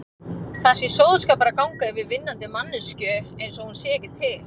Það sé sóðaskapur að ganga yfir vinnandi manneskju einsog hún sé ekki til.